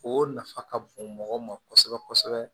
O nafa ka bon mɔgɔ ma kosɛbɛ kosɛbɛ